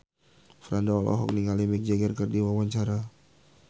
Franda olohok ningali Mick Jagger keur diwawancara